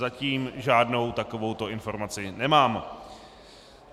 Zatím žádnou takovouto informaci nemám.